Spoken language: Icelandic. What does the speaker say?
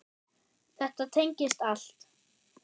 Þetta tengist allt.